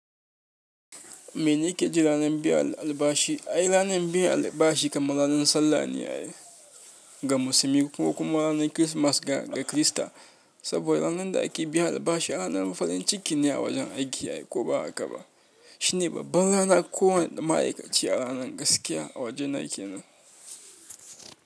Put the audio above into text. Me ne ke ji ranar biyan albashi? Ai, ranar biyan albashi kamar ranar sallan ne ga musulmi ko kuma ranar Kirsimeti ga Kirista, saboda ranar da ake biyan albashi ranar farin ciki ne a wajen aiki ko ba haka ba. Shine babban rana kowane ma'aikaci a ranar gaskiya a wajena kenan.